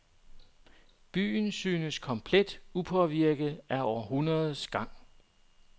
Byen synes komplet upåvirket af århundredernes gang.